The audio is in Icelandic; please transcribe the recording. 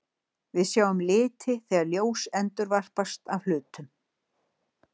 Við sjáum liti þegar ljós endurvarpast af hlutum.